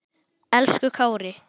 Elsku Kári.